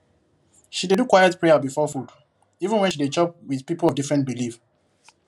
she dey do quiet prayer before food even when she dey chop with people of different belief